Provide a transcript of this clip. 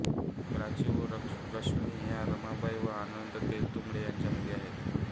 प्राची व रश्मी या रमाबाई व आनंद तेलतुंबडे यांच्या मुली आहेत